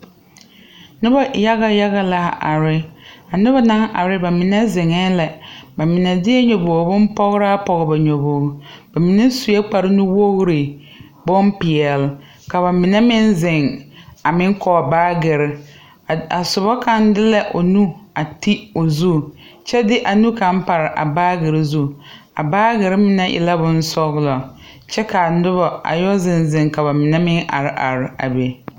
Nobɔ yaga yaga la are a nobɔ naŋ are ba mine zeŋɛɛ la ba mine deɛ nyobogre bonpɔgraa pɔge ba nyobogre ba mine suee kpare nuwogre bonpeɛle ka ba mine meŋ zeŋ a meŋ kɔg baagire a sobɔ kaŋ de la o nu a ti o zu kyɛ de a nu kaŋ pare a baagire zu a baagirre mine e la bonsɔglɔ kyɛ kaa nobɔ a yɔ zeŋ zeŋ ka ba mine meŋ are are a be.